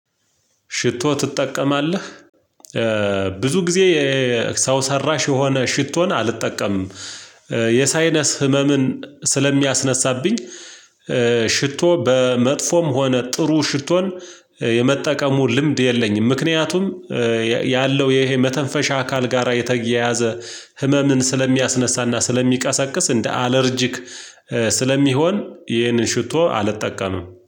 ሽቶ ትጠቀማለህ ብዙ ጊዜ የሰው ሰራሽ የሆነ ሽቶን አልጠቀምም የሳይነስ ህመምን ስለሚያስነሳብኝ። ሽቶ በመጥፎም ሆነ ጥሩ ሽቶን የመጠቀሙ ልምድ የለኝም። ምክንያቱም ያለው ይሄ መተንፈሻ አካል ጋራ የተያያዘ ህመምን ስለሚያስነሳና ስለሚቀሰቅስ እንደ አለርጂክ ስለሚሆን ይህንን ሽቶ አልጠቀምም